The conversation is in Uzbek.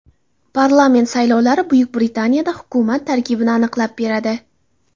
Parlament saylovlari Buyuk Britaniyada hukumat tarkibini aniqlab beradi.